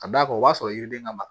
Ka d'a kan o b'a sɔrɔ yiri den ka ma